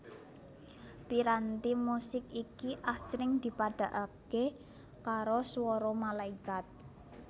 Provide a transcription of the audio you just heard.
Piranti musik iki asring dipadhakaké karo swara malaikat